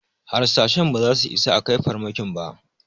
Harsashen ba za su isa a kai farmakin ba